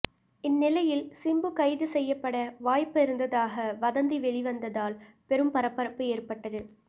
இந்நிலையில் சிம்பு கைது செய்யப்பட வாய்ப்பு இருந்ததாக வதந்தி வெளிவந்ததால் பெரும் பரபரப்பு ஏற்பட்டது